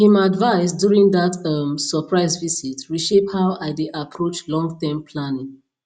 him advice during dat um surprise visit reshape how i dey approach longterm planning